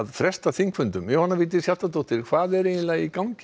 fresta þingfundum Alþingis Jóhanna Vigdís Hjaltadóttir hvað er eiginlega í gangi